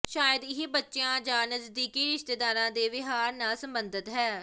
ਸ਼ਾਇਦ ਇਹ ਬੱਚਿਆਂ ਜਾਂ ਨਜ਼ਦੀਕੀ ਰਿਸ਼ਤੇਦਾਰਾਂ ਦੇ ਵਿਹਾਰ ਨਾਲ ਸੰਬੰਧਤ ਹੈ